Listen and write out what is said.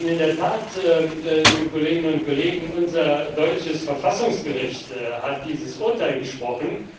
In der Tat, liebe Kolleginnen und Kollegen, unser deutsches Verfassungsgericht hat dieses Urteil gesprochen.